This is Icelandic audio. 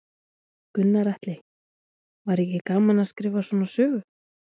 Gunnar Atli: Var ekki gaman að skrifa svona sögu?